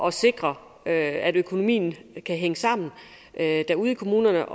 at sikre at at økonomien kan hænge sammen ude i kommunerne